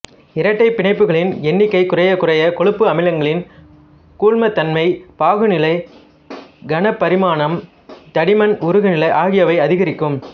இரட்டைப் பிணைப்புகளின் எண்ணிக்கை குறையக்குறைய கொழுப்பு அமிலங்களின் கூழ்மத்தன்மை பாகுநிலை கனபரிமாணம் தடிமன் உருகுநிலை ஆகியவை அதிகரிக்கும்